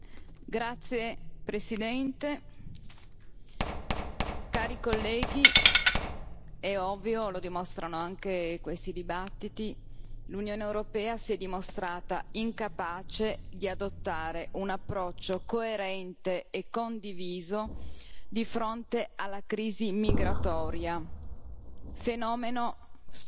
Signora Presidente, onorevoli colleghi, è ovvio, lo dimostrano anche questi dibattiti, l'Unione europea si è dimostrata incapace di adottare un approccio coerente e condiviso di fronte alla crisi migratoria,